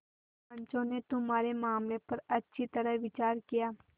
पंचों ने तुम्हारे मामले पर अच्छी तरह विचार किया